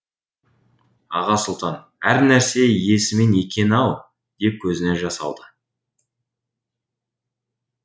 аға сұлтан әр нәрсе иесімен екен ау деп көзіне жас алды